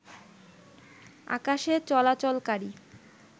আকাশে চলাচলকারী